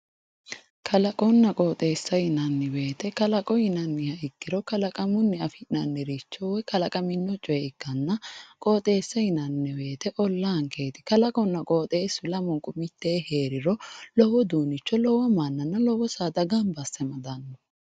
Kalaqona qooteesa yinani woyite kalaqo yinani woyite kaaqaminoricho ikkanna qooteesa yinani olaankeeti kalaquna qooteesu mittee heeriro lowo saadana jajja amadano